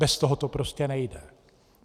Bez toho to prostě nejde.